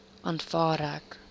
aanvaar ek